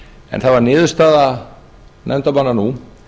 en það var niðurstaða nefndarmanna nú